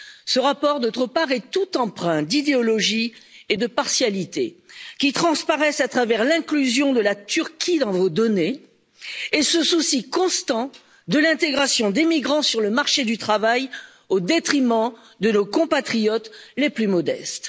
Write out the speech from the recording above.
Ce rapport, par ailleurs, est tout empreint d'idéologie et de partialité qui transparaissent à travers l'inclusion de la Turquie dans vos données et ce souci constant de l'intégration d'émigrants sur le marché du travail, au détriment de nos compatriotes les plus modestes.